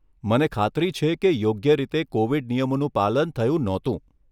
મને ખાતરી છે કે યોગ્ય રીતે કોવિડ નિયમોનું પાલન થયું નહોતું.